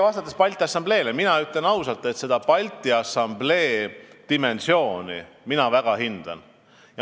Vastates teile Balti Assamblee kohta, ütlen ausalt, et mina Balti Assamblee dimensiooni väga hindan.